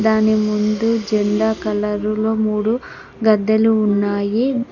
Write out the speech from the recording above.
దాని ముందు జెండా కలర్ లో మూడు గద్దెలు ఉన్నాయి.